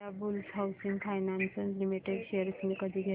Indiabulls housing finance limited shares मी कधी घेऊ